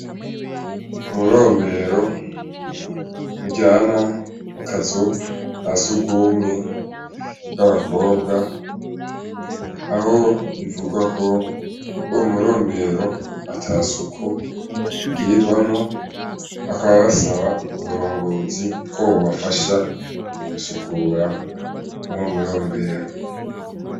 Umurombero ujana mu kazu ka sugumwe bw'abakobwa, aho bivugwa ko umurombero ata suku igirirwamwo bakaba basaba uburongozi ko bobafasha gusukura mw'uwo murombero.